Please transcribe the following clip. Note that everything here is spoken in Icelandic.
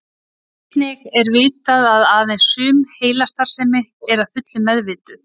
Einnig er vitað að aðeins sum heilastarfsemi er að fullu meðvituð.